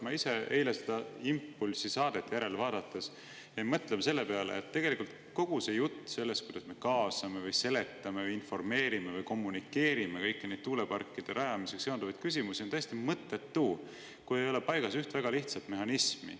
Ma ise eile "Impulsi" saadet järele vaadates jäin mõtlema, et kogu see jutt sellest, kuidas me kaasame või seletame või informeerime või kommunikeerime kõiki neid tuuleparkide rajamisega seonduvaid küsimusi, on täiesti mõttetu, kui ei ole paigas üht väga lihtsat mehhanismi.